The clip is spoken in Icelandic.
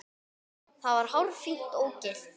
Það var hárfínt ógilt.